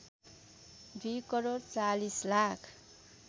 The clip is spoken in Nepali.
२ करोड ४० लाख